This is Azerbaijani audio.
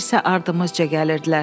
Onlar isə ardımızca gəlirdilər.